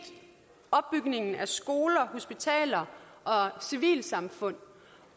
opbygning af skoler hospitaler og civilsamfund